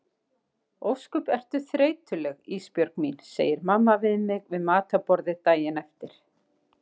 Ósköp ertu þreytuleg Ísbjörg mín, segir mamma við mig við matarborðið daginn eftir.